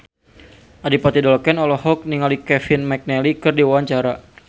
Adipati Dolken olohok ningali Kevin McNally keur diwawancara